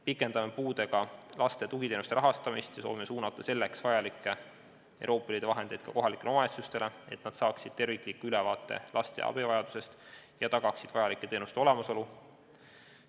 Pikendame puudega laste tugiteenuste rahastamist ja soovime suunata selleks vajalikke Euroopa Liidu vahendeid ka kohalikele omavalitsustele, et nad saaksid tervikliku ülevaate laste abivajadusest ja tagaksid vajalike teenuste olemasolu.